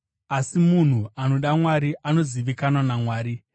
Asi munhu anoda Mwari anozivikanwa naMwari.